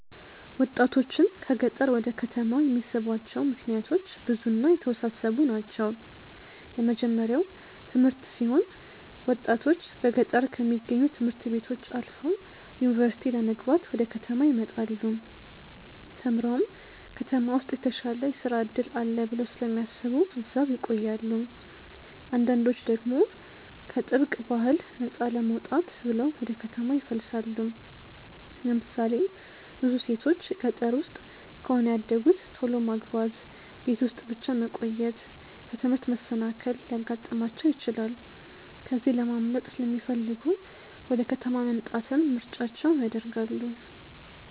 ወጣቶችን ከገጠር ወደ ከተማ የሚስቧቸው ምክንያቶች ብዙ እና የተወሳሰቡ ናቸው። የመጀመርያው ትምህርት ሲሆን ብዙ ወጣቶች በገጠር ከሚገኙ ት/ቤቶች አልፈው ዩኒቨርሲቲ ለመግባት ወደ ከተማ ይመጣሉ። ተምረውም ከተማ ውስጥ የተሻለ የስራ እድል አለ ብለው ስለሚያስቡ እዛው ይቆያሉ። አንዳንዶች ደግሞ ከጥብቅ ባህል ነፃ ለመውጣት ብለው ወደ ከተማ ይፈልሳሉ። ለምሳሌ ብዙ ሴቶች ገጠር ውስጥ ከሆነ ያደጉት ቶሎ ማግባት፣ ቤት ውስጥ ብቻ መቆየት፣ ከትምህርት መሰናከል ሊያጋጥማቸው ይችላል። ከዚህ ለማምለጥ ሲለሚፈልጉ ወደ ከተማ መምጣትን ምርጫቸው ያደርጋሉ።